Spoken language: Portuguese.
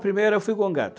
A primeira eu fui